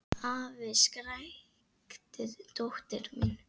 Afi! skrækti dóttir mín.